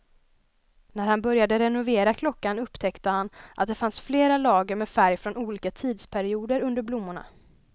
När han började renovera klockan upptäckte han att det fanns flera lager med färg från olika tidsperioder under blommorna.